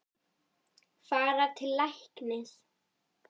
Fara til læknis?